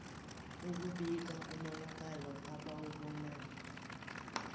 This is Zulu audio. ukubika umonakalo abawubonayo